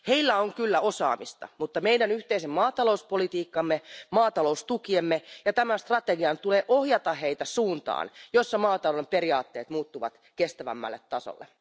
Heillä on kyllä osaamista, mutta meidän yhteisen maatalouspolitiikkamme, maataloustukiemme ja tämän strategian tulee ohjata heitä suuntaan, jossa maatalouden periaatteet muuttuvat kestävämmälle tasolle.